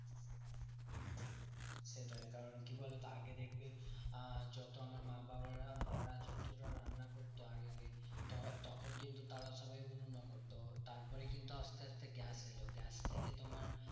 সেটাই কারণ কি বলতো? আগে দেখবে আহ যত আমার মা বাবারা মারা যতটা রান্না করতো আগে ত~ তখন কিন্তু তারা সবাই উনুনে করতো। তারপরেই কিন্তু আসতে আসতে গ্যাস এলো গ্যাস থেকে তোমার